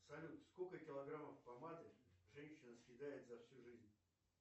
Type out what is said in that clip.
салют сколько килограммов помады женщина съедает за всю жизнь